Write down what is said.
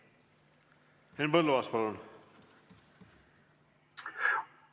Henn Põlluaas, palun!